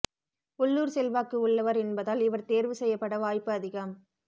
உள்ளூர் செல்வாக்கு உள்ளவர் என்பதால் இவர் தேர்வு செய்யப்பட வாய்ப்பு அதிகம்